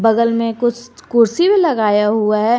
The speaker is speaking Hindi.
बगल में कुछ कुर्सी भी लगाया हुआ है।